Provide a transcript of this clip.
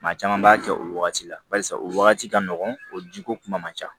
Maa caman b'a kɛ o wagati la barisa o wagati ka nɔgɔn o jiko kuma man ca